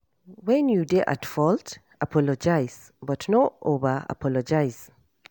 When you dey at fault, apologize but no over apologize